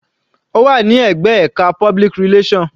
Ó wà ní ẹ̀gbẹ́ ẹka public relation.